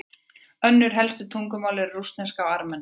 önnur helstu tungumál eru rússneska og armenska